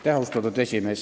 Austatud esimees!